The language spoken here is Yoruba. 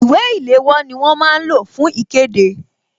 Ìwé ìléwọ́ ni wọ́n máa ń lò fún ikede